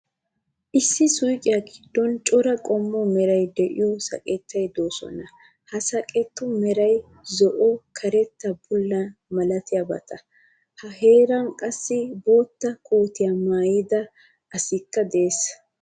Issi suuqiya giddon cora qommo meray de'iyo saqqeti de'oosona. Ha saqqetu meray zo'o, karetta, bullanne malatiyabata. He heeran qassi bootta kootiya maayida asikka de'ees.